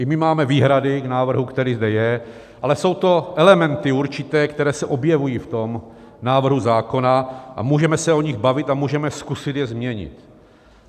I my máme výhrady k návrhu, který zde je, ale jsou to elementy určité, které se objevují v tom návrhu zákona, a můžeme se o nich bavit a můžeme je zkusit změnit.